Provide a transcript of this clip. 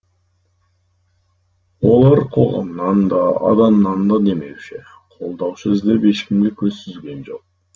олар қоғамнан да адамнан да демеуші қолдаушы іздеп ешкімге көз сүзген жоқ